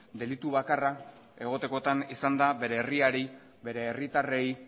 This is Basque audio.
delitu bakarra egotekotan izan da bere herriari bere herritarrei